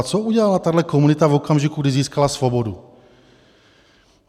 A co udělala tato komunita v okamžiku, když získala svobodu?